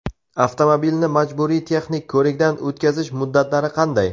Avtomobilni majburiy texnik ko‘rikdan o‘tkazish muddatlari qanday?.